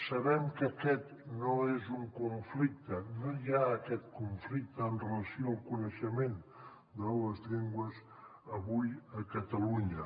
sabem que aquest no és un conflicte no hi ha aquest conflicte amb relació al coneixement de les llengües avui a catalunya